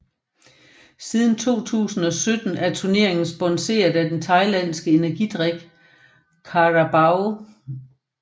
Siden 2017 er turneringen sponseret af den thailandske energidrik Carabao